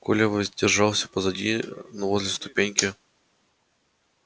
коля воздержался позади но возле ступеньки